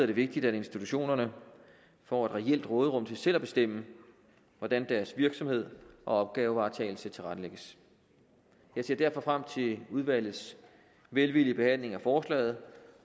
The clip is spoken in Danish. det vigtigt at institutionerne får et reelt råderum til selv at bestemme hvordan deres virksomhed og opgavevaretagelse tilrettelægges jeg ser derfor frem til udvalgets velvillige behandling af forslaget